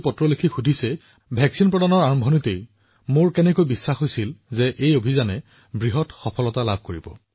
বহুলোকে মোলৈ চিঠি লিখি সুধি আছে যে কেনেকৈ আৰম্ভণিৰে পৰা প্ৰতিষেধকৰ ক্ষেত্ৰত মই নিশ্চিত হৈছিলো যে এই অভিযানটো ইমান ডাঙৰ এটা সফলতা হব